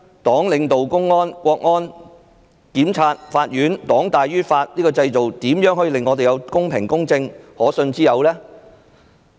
黨領導公安、國安、檢察、法院，黨大於法，這個制度如何公平公正和可信之有？